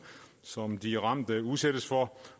som de ramte udsættes for